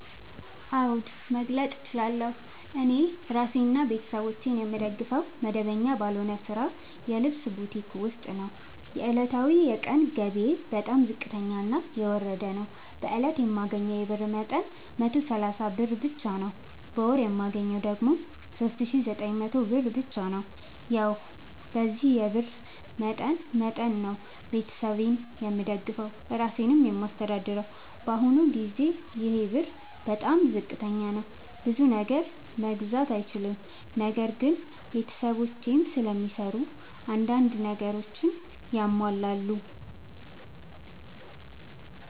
አዎድ መግለጥ እችላለሁ። እኔ እራሴንና ቤተሠቦቼን የምደግፈዉ መደበኛ ባልሆነ ስራ የልብስ ቡቲክ ዉስጥ ነዉ። ዕለታዊ የቀን ገቢየ በጣም ዝቅተኛና የወረደ ነዉ። በእለት የማገኘዉ የብር መጠን 130 ብር ብቻ ነዉ። በወር የማገኘዉ ደግሞ 3900 ብር ብቻ ነዉ። ያዉ በዚህ የብር መጠን መጠን ነዉ። ቤተሠብ የምደግፈዉ እራሴንም የማስተዳድረዉ በአሁኑ ጊዜ ይሄ ብር በጣም ዝቅተኛ ነዉ። ብዙ ነገር መግዛት አይችልም። ነገር ግን ቤተሰቦቼም ስለሚሰሩ አንዳንድ ነገሮችን ያሟላሉ።